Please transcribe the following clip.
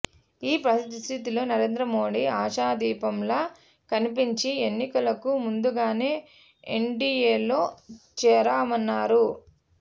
ఈ పరిస్థితుల్లో నరేంద్రమోదీ ఆశాదీపంలా కన్పించి ఎన్నికలకు ముందుగానే ఎన్డిఎలో చేరామన్నారు